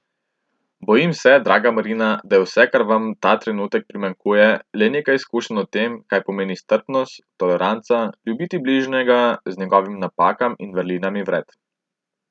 Bojim se, draga Marina, da je vse, kar vam ta trenutek primanjkuje, le nekaj izkušenj o tem, kaj pomeni strpnost, toleranca, ljubiti bližnjega z njegovimi napakami in vrlinami vred.